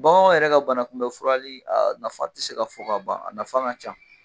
Bagan yɛrɛ ka bana Kun bɛ furali nafa te se ka fɔ ka ban a nafa ka ca